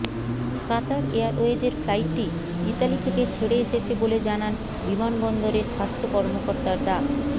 কাতার এয়ারওয়েজের ফ্লাইটটি ইতালি থেকে ছেড়ে এসেছে বলে জানান বিমানবন্দরের স্বাস্থ্য কর্মকর্তা ডা